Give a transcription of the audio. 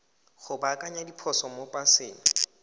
go baakanya diphoso mo paseng